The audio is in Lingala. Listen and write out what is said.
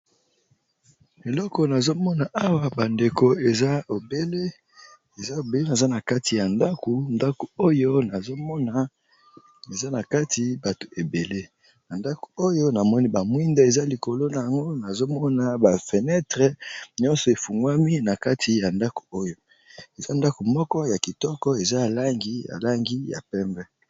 Eloko nazo mona awa ba ndeko eza obele naza na kati ya ndako. Ndako oyo nazo mona eza na kati bato ebele. Na ndako oyo na moni ba mwinda eza likolo na ngo. Nazo mona ba fenetre nyonso efungwami na kati ya ndako oyo. Eza ndako moko ya kitoko eza langi ya pembe.